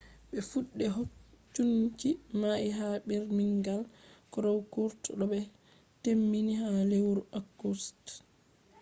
be fuɗɗe hokunci mai ha birmingham crown court bo be temmini ha lewru august 3